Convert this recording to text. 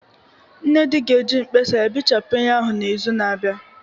Nnedi ga-eji mkpasa ya bechapụ ihe ahụ n'izu na-abịa